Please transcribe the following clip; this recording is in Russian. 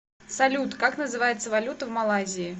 салют как называется валюта в малайзии